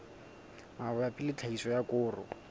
mabapi le tlhahiso ya koro